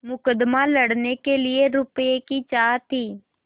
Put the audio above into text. मुकदमा लड़ने के लिए रुपये की चाह थी